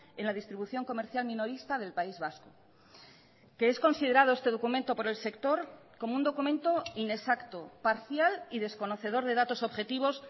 en la distribución comercial minorista del país vasco que es considerado este documento por el sector como un documento inexacto parcial y desconocedor de datos objetivos